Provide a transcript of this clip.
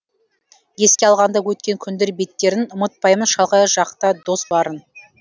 еске алғанда өткен күндер беттерін ұмытпаймын шалғай жақта дос барын